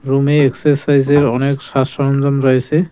রুমে এক্সারসাইজের অনেক সারসরঞ্জাম রয়েসে।